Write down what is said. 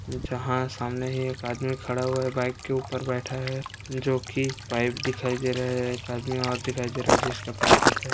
जहां सामने ही एक आदमी खड़ा हुआ है बाइक के ऊपर बैठा है जो की पाइप दिखाई दे रहा है एक आदमी और दिखाई दे रहा है जिसके पैर दिख रहे हैं।